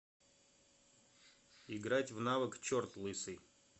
играть в навык черт лысый